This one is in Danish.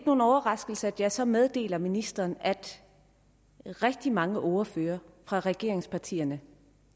nogen overraskelse at jeg så meddeler ministeren at rigtig mange ordførere fra regeringspartierne